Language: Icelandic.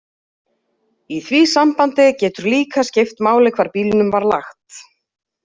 Í því sambandi getur líka skipt máli hvar bílnum var lagt.